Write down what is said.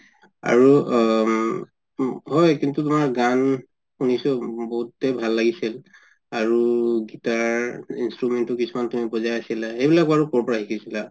আৰু উম হয় কিন্তু তুমাৰ গান শুনিছো বহুতে ভাল লাগিছিল আৰু guitar instrument ও তুমি কিছুমান বজাই আছিলা সেই বিলাক বাৰু কৰ পৰা শিকিছিলা